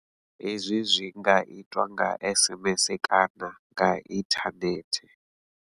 Hezwi zwi nga itwa nga SMS kana nga inthanethe.